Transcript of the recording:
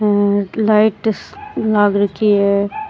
हेर लाइट लाग रखी है।